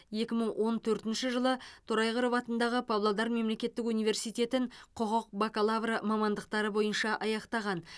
екі мың он төртінші жылы торайғыров атындағы павлодар мемлекеттік университетін құқық бакалавры мамандықтары бойынша аяқтаған